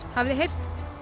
hafið þið heyrt